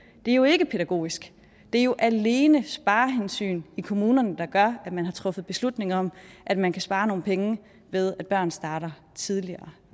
er jo ikke pædagogisk det er jo alene sparehensyn i kommunerne der gør at man har truffet beslutning om at man kan spare nogle penge ved at børn starter tidligere